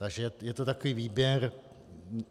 Takže je to takový výběr.